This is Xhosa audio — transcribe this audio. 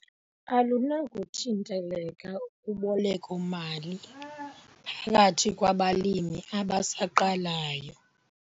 Alunakuthinteleka uboleko-mali phakathi kwabalimi abasaqalayo.